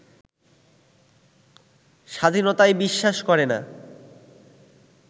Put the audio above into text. স্বাধীনতায় বিশ্বাস করেনা